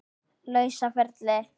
lausa ferli.